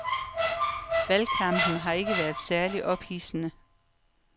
Valgkampen har ikke været særligt ophidsende.